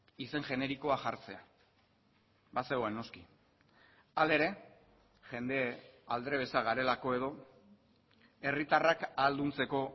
izen generikoa jartzea bazegoen noski hala ere jende aldrebesa garelako edo herritarrak ahalduntzeko